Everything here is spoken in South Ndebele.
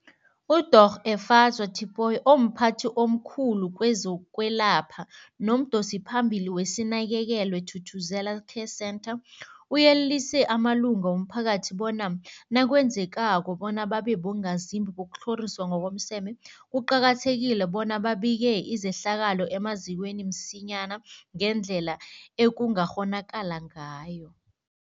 UDorh Efadzwa Tipoy, omphathi omkhulu kezokwelapha nomdosiphambili weSinakekelwe Thuthuzela Care Centre, uyelelise amalunga womphakathi bona nakwenzekako bona babe bongazimbi bokutlhoriswa ngokomseme, kuqakathekile bona babike izehlakalo emazikweni msinyana ngendlela ekungakghonakala ngayo.